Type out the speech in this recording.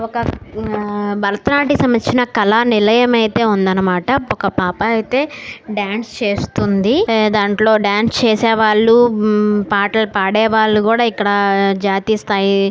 ఒక ఆ భరత నాట్య సంబందించిన కల నిలయం అయితే ఉంది అన్నమాట ఒక పాప అయితే డాన్స్ చేస్తుంది ఏ దాంట్లో డాన్స్ చేసేవాళ్ళు పాటలు పాడే వాళ్ళు కూడా ఇక్కడ జాతీయ స్తాయి--